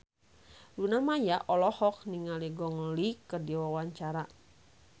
Luna Maya olohok ningali Gong Li keur diwawancara